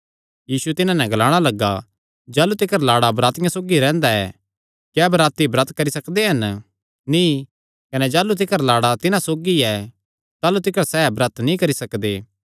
यीशु तिन्हां नैं ग्लाणा लग्गा जाह़लू तिकर लाड़ा बरातियां सौगी रैंह्दा ऐ क्या बराती ब्रत करी सकदे हन नीं कने जाह़लू तिकर लाड़ा तिन्हां सौगी ऐ ताह़लू तिकर सैह़ ब्रत नीं करी सकदे